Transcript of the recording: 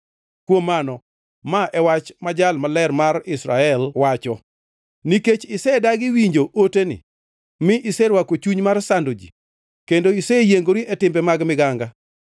Kuom mano, ma e wach ma Jal Maler mar Israel wacho: “Nikech isedagi winjo oteni, mi iserwako chuny mar sando ji kendo iseyiengori e timbe mag miganga,